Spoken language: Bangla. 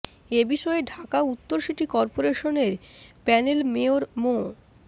এ বিষয়ে ঢাকা উত্তর সিটি করপোরেশনের প্যানেল মেয়র মো